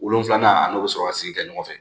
Wolonfila an n'o bɛ sɔrɔ ka sigi kɛ ɲɔgɔn fɛ